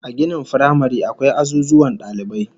A ginin firamare akwai azuzuwan dalibai